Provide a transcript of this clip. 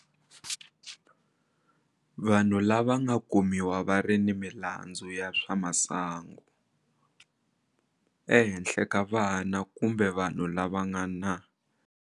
Vanhu lava nga kumiwa va ri ni milandzu ya swa masangu ehenhla ka vana kumbe vanhu lava nga na.